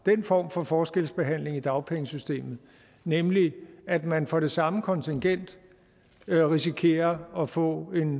form for forskelsbehandling i dagpengesystemet nemlig at man for det samme kontingent risikerer at få en